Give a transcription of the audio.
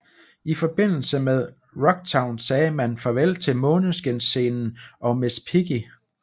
I forbindelse med Rocktown sagde man farvel til Måneskinsscenen og Miss Piggy